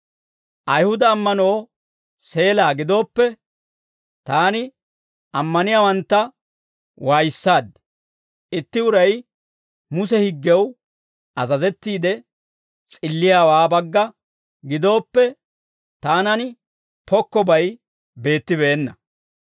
Ayihuda ammanoo seelaa gidooppe, taani ammaniyaawantta waayissaaddi; itti uray Muse higgew azazettiide s'illiyaawaa bagga gidooppe, taanan pokkobay beettibeenna.